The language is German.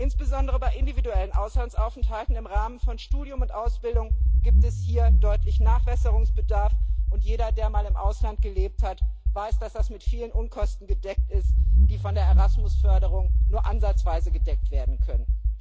Insbesondere bei individuellen Auslandsaufenthalten im Rahmen von Studium und Ausbildung gibt es hier deutlichen Nachbesserungsbedarf, und jeder, der mal im Ausland gelebt hat, weiß, dass das mit vielen Unkosten verbunden ist, die von der Erasmus Förderung nur ansatzweise gedeckt werden können.